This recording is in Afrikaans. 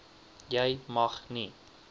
jy mag nie